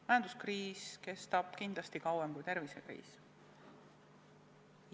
Majanduskriis kestab kindlasti kauem kui tervisekriis.